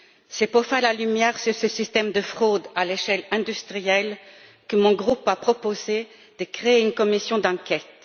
C'est pour faire la lumière sur ce système de fraude à échelle industrielle que mon groupe a proposé de créer une commission d'enquête.